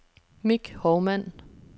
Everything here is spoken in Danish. Mick Hovmand